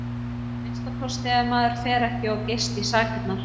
Að minnsta kosti ef maður fer ekki of geyst í sakirnar.